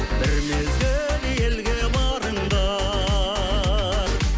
бір мезгіл елге барыңдар